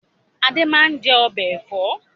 Adé máa ń jẹ ọbẹ̀ Ẹ̀fọ́